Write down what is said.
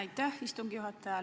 Aitäh, istungi juhataja!